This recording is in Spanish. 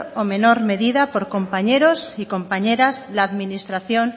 o menor medida por compañeros y compañeras la administración